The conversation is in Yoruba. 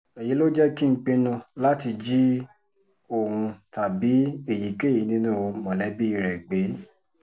èyí ló jẹ́ kí n pinnu láti jí òun tàbí èyíkéyìí nínú mọ̀lẹ́bí rẹ̀ gbé